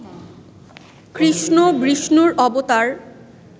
কৃষ্ণ বিষ্ণুর অবতার